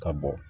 Ka bɔ